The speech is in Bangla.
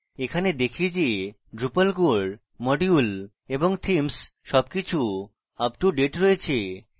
এখানে দেখি যে drupal core module এবং themes সবকিছু uptodate রয়েছে